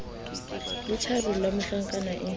le tjharola ya mohlankana e